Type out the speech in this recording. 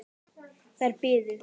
Þær biðu.